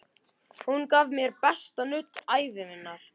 Hún gaf mér besta nudd ævi minnar.